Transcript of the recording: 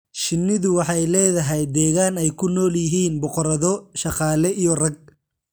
Shinnidu waxay leedahay deegaan ay ku nool yihiin boqorado, shaqaale iyo rag.